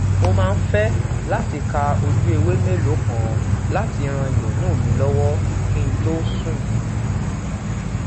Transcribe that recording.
mo maa n fe lati ka oju ewe meloo kan lati ran ironu mi lowo ki n to sun